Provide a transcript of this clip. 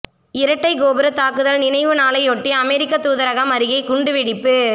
இரட்டை கோபுர தாக்குதல் நினைவு நாளையொட்டி அமெரிக்க தூதரகம் அருகே குண்டு வெடிப்பு